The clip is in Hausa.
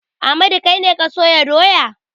Ahmadu kai ne ka sayo doya?